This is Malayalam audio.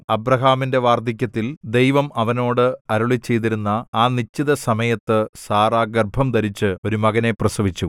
അബ്രാഹാമിന്റെ വാർദ്ധക്യത്തിൽ ദൈവം അവനോട് അരുളിച്ചെയ്തിരുന്ന ആ നിശ്ചിത സമയത്ത് സാറാ ഗർഭംധരിച്ച് ഒരു മകനെ പ്രസവിച്ചു